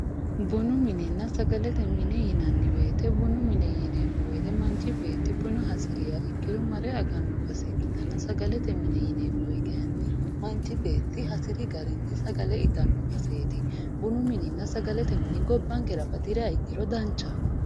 bunu minenna sagalete mine yinanni wote manchi beettti buna hasiriha ikkiro mare aganno base ikkitanna sagalete mine yineemmoti kayiinni manchi beetti hasiri garinni sagale itanno baseeti bunu mininna sagalete mini gobbankera batiriha ikkiro danchaho.